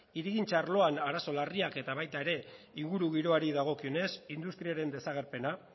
hirigintza arloan arazo larriak eta baita ere ingurugiroari dagokionez industriaren desagerpena